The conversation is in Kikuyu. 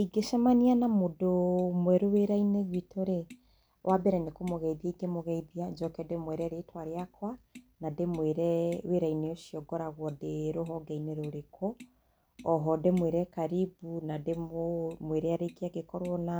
Ingĩcemania na mũndũ mwerũ wĩra-inĩ gwitũ rĩ, wambere nĩ kũgũgeithia ingĩmũgeithia, njoke ndĩmwĩre rĩtwa rĩakwa, na ndĩmwĩre wĩra-inĩ ũcio ngoragũo ndĩ rũhonge-inĩ rũrĩkũ. Oho ndĩmwĩre karibu ma angĩkorwo na